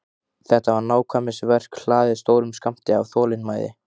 Þetta var nákvæmnisverk hlaðið stórum skammti af þolinmæði.